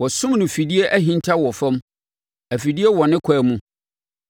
Wɔasum no afidie ahinta wɔ fam; afidie wɔ ne kwan mu.